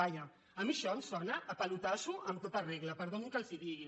vaja a mi això em sona a pelotasso en tota regla perdonin que els ho digui